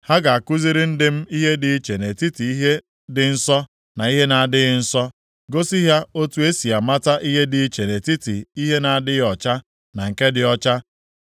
Ha ga-akụziri ndị m ihe dị iche nʼetiti ihe dị nsọ na ihe na-adịghị nsọ; gosi ha otu esi amata ihe dị iche nʼetiti ihe na-adịghị ọcha na nke dị ọcha.